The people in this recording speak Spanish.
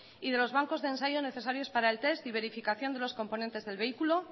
y de los bancos de ensayo necesarios para el test y verificación de los componentes del vehículo